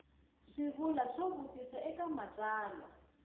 swivulwa swo vutisa eka matsalwa